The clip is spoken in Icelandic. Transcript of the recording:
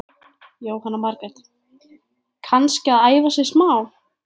Jóhanna Margrét: Kannski að æfa sig smá?